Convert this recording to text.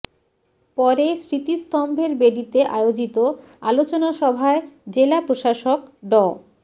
পরে স্মৃতিস্তম্ভের বেদীতে আয়োজিত আলোচনা সভায় জেলা প্রশাসক ড